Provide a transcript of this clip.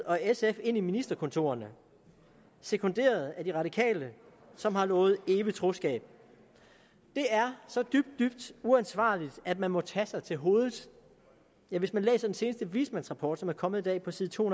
og sf ind i ministerkontorerne sekunderet af de radikale som har lovet evigt troskab det er så dybt dybt uansvarligt at man må tage sig til hovedet ja hvis man læser den seneste vismandsrapport som er kommet i dag på side to